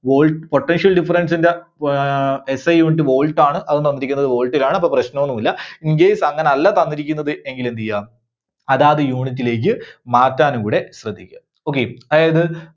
volt, Potential difference ന്റെ ആഹ് SIunit Volt ആണ്. അതും തന്നിരിക്കുന്നത് volt ലാണ്. അപ്പോ പ്രശ്നമൊന്നുമില്ല. incase അങ്ങനല്ല തന്നിരിക്കുന്നത് എങ്കിൽ എന്ത് ചെയ്യുക അതാത് unit ലേക്ക് മാറ്റാനും കൂടെ ശ്രദ്ധിക്കുക. okay. അതായത്